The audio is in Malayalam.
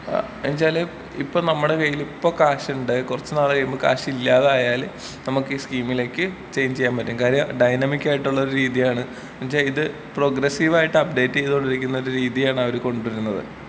ആ അതെന്തോയ്ച്ചാല് ഇപ്പൊ നമ്മടെ കയ്യില് ഇപ്പൊ ക്യാഷ് ഇണ്ട് കൊറച്ച് നാള് കഴിയുമ്പം ക്യാഷ് ഇല്ലാതായാല് നമ്മക്ക് ഈ സ് കീമിലേക്ക് ചൈഞ്ചിയ്യാൻ പറ്റും കാര്യം ഡൈനാമിക്കായിട്ടുള്ള ഒരു രീതിയാണ് ന്ന് വെച്ച ഇത് പ്രോഗ്രെസ്സിവായിട്ടപ്ഡേറ്റ് ചെയ്തൊണ്ടിരിക്കുന്നൊരു രീതിയാണ് അവര് കൊണ്ട് വരുന്നത്.